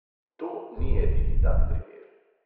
To ni edini tak primer.